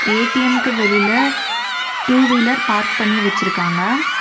ஏ_டி_எம்க்கு வெளியில two wheeler park பண்ணி வச்சிருக்காங்க.